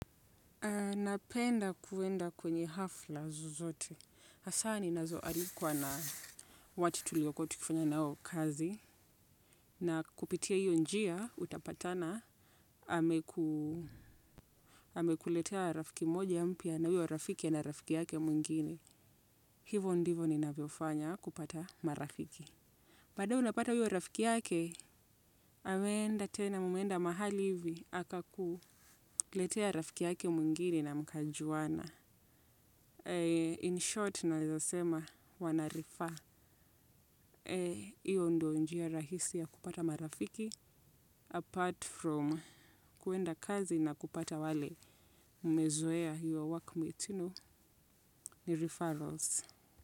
Na penda kuenda kwenye hafla zozote. Hasa ninazo alikuwa na watu tulio kuwa tukifanya nao kazi. Na kupitia hiyo njia, utapatana, amekuletea rafiki mmoja mpya na huyo rafiki ana rafiki yake mwingine. Hivo ndivo ninavyofanya kupata marafiki. Baadaye unapata huyo rafiki yake, ameenda tena, mkaenda mahali fulani, akakuletea rafiki yake mwingine mkajuana. In short, nawezasema wanarefer, hiyo ndiyo njia rahisi ya kupata marafiki. Apart from kuenda kazi na kupata wale mmezoea, your workmates you know, ni referrals.